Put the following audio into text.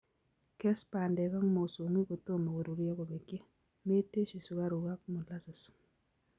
Kes bandek ak mosongik kotomo koruryo kobekyi; metesyi sukaruk ak molasses